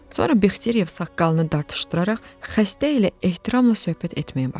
Sonra Bexteriyev saqqalını dartışdıraraq xəstə ilə ehtiramla söhbət etməyə başladı.